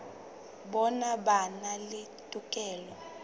bona ba na le tokelo